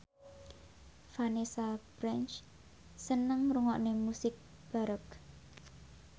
Vanessa Branch seneng ngrungokne musik baroque